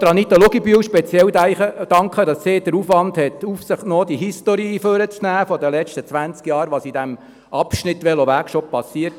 Ich möchte Anita Luginbühl speziell danken, dass sie den Aufwand auf sich genommen hat, die History hervorzuholen und zu schauen, was in den letzten zwanzig Jahren auf diesem Abschnitt bereits geschehen ist.